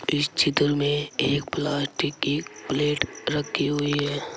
इस चित्र में एक प्लास्टिक की प्लेट रखी हुई है।